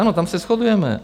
Ano, tam se shodujeme.